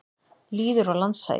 Lýðir og landshagir.